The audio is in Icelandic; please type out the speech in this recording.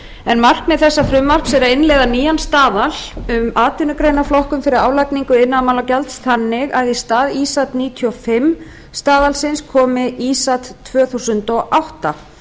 iðnaðarráðuneyti markmið frumvarpsins er að innleiða nýjan staðal um atvinnugreinaflokkun fyrir álagningu iðnaðarmálagjalds þannig að í stað ísat níutíu og fimm staðalsins komi ísat tvö þúsund og átta